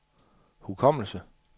hukommelse